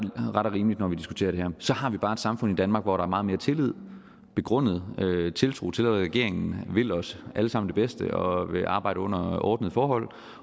rimeligt når vi diskuterer det her så har vi bare et samfund i danmark hvor der er meget mere tillid og begrundet tiltro til at regeringen vil os alle sammen det bedste og vil arbejde under ordnede forhold